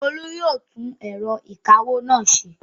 Olú yóò tún ẹ̀rọ ìkawó náà ṣe!